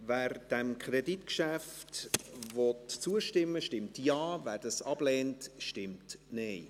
Wer diesem Kreditgeschäft zustimmen will, stimmt Ja, wer es ablehnt, stimmt Nein.